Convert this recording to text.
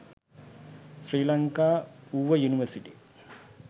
sri lanka uva university